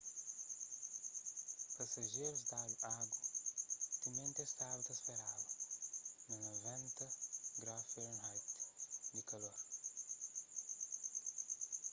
pasajerus dadu agu timenti es staba ta speraba na 90f-grau di kalor